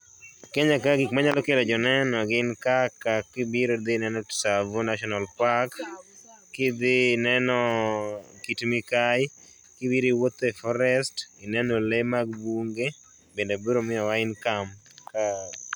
Kenya ka gik manyalo kelo joneno gin kaka kibiro idhi ineno Tsavo National park, kidhi ineno Kit MIkai, kibiro iwuotho e forest ineno lee mag bunge bende biro miyowa income ka